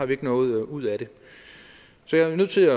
vi ikke noget ud af det så jeg er nødt til